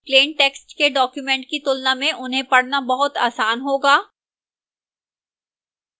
plain text के documents की तुलना में उन्हें पढ़ना बहुत आसान होगा